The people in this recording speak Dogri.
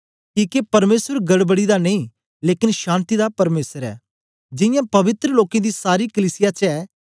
किके परमेसर गड़बड़ी दा नेई लेकन शान्ति दा परमेसर ऐ जियां पवित्र लोकें दी सारी कलीसिया च ऐ